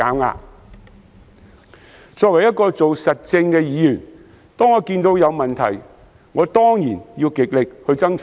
我作為做實政的議員，每當看到有問題，當然要極力爭取解決。